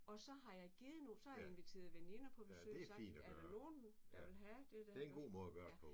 Og så har jeg givet nogen så har jeg inviteret veninder på besøg og sagt er der nogen der vil have det der ja